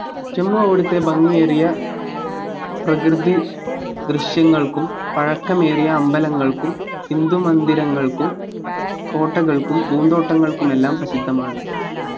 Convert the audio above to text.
ജമ്മു അവിടത്തെ ഭംഗിയേറിയ പ്രകൃതി ദൃശ്യങ്ങൾക്കും പഴക്കമേറിയ അമ്പലങ്ങൾക്കും ഹിന്ദു മന്ദിരങ്ങൾക്കും കോട്ടകൾക്കും പൂന്തോട്ടങ്ങൾക്കുമെല്ലാം പ്രസിദ്ധമാണ്